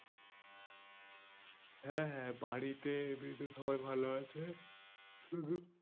হ্যাঁ হ্যাঁ বাড়িতেএমনিতে সবাই ভালো আছে শুধু